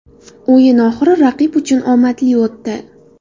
O‘yin oxiri raqib uchun omadli o‘tdi.